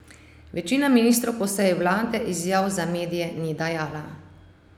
Večina ministrov po seji vlade izjav za medije ni dajala.